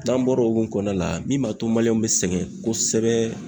N'an bɔra o hukumu kɔnɔna la min ma to bɛ sɛgɛn kosɛbɛ.